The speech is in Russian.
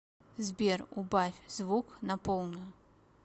сбер убавь звук на полную